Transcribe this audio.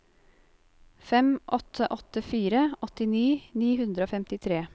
fem åtte åtte fire åttini ni hundre og femtitre